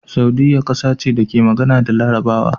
Saudiyya kasa ce da ke magana da Larabawa